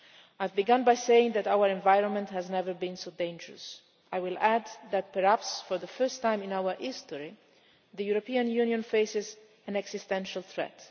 Europe. I began by saying that our environment has never been so dangerous. I will add that, perhaps for the first time in our history, the European Union faces an existential